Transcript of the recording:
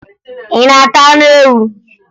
Ị na-ata anụ ewu?